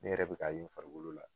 Ne yɛrɛ be k'a ye n farikolo la